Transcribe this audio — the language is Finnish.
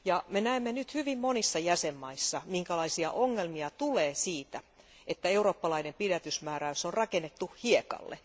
Me näemme nyt hyvin monissa jäsenvaltioissa, minkälaisia ongelmia tulee siitä, että eurooppalainen pidätysmääräys on rakennettu hiekalle.